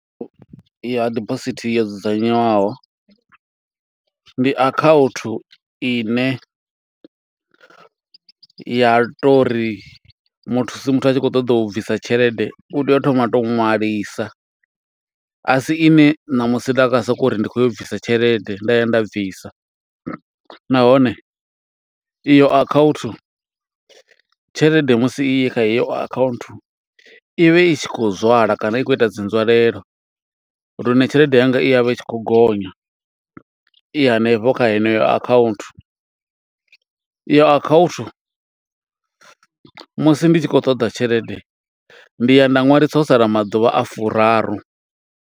Ya dibosithi yo dzudzanyiwaho, ndi akhaunthu ine ya to ri muthusi muthu a tshi khou ṱoḓa u bvisa tshelede, u tea u thoma a to ṅwalisa. A si ine ṋamusi nda nga soko uri, ndi khou ya u bvisa tshelede, nda ya nda bvisa. Nahone iyo account, tshelede musi i kha heyo account, i vha i tshi khou zwala kana i khou ita dzi nzwalelo. Lune tshelede yanga i ya vha i tshi khou gonya, i hanefho kha heneyo account. Iyo account, musi ndi tshi khou ṱoḓa tshelede, ndi ya nda ṅwalisa ho sala maḓuvha a furaru.